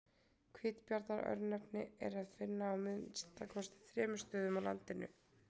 Hvítabjarnar-örnefni er að finna á að minnsta kosti þremur stöðum á landinu.